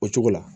O cogo la